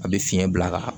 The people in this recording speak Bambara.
A bɛ fiɲɛ bila ka